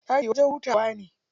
Ɗaki wajen hutawa ne.